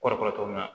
Kɔrɔ kɔrɔ cogo min na